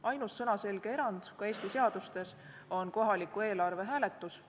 Ainus sõnaselge erand ka Eesti seadustes on kohaliku eelarve hääletus.